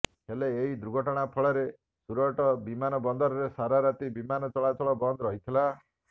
ହେଲେ ଏହି ଦୁର୍ଘଟଣା ଫଳରେ ସୁରଟ ବିମାନ ବନ୍ଦରରେ ସାରାରାତି ବିମାନ ଚଳାଚଳ ବନ୍ଦ ରହିଥିଲା